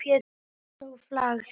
Einsog flagð.